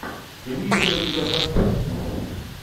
имеется ли у тебя саспенс